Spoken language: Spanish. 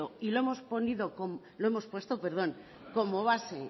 y lo hemos puesto como base